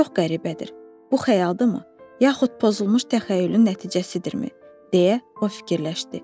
Çox qəribədir, bu xəyaldırmı, yaxud pozulmuş təxəyyülün nəticəsidirmi, deyə o fikirləşdi.